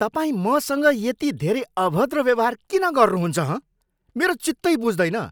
तपाईँ मसँग यति धेरै अभद्र व्यवहार किन गर्नुहुन्छ, हँ? मेरो चित्तै बुझ्दैन।